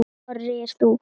Þorir þú?